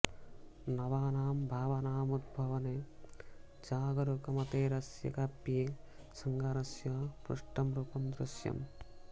नवानां भावानामुद्भावने जागरुकमतेरस्य काव्ये शृङ्गारस्य पुष्टं रुपं दृश्यम्